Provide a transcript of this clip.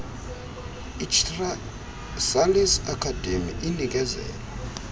ichrysalis academy inikezela